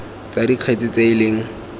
tsa dikgetse tse e leng